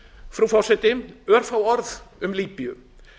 frú forseti örfá orð um líbíu